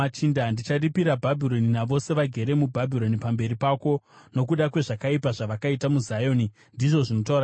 “Ndicharipira Bhabhironi navose vagere muBhabhironi pamberi pako, nokuda kwezvakaipa zvavakaita muZioni,” ndizvo zvinotaura Jehovha.